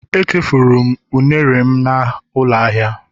Echefuru m unere'm na ụlọ ahịa